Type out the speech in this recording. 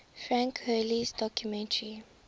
frank hurley's documentary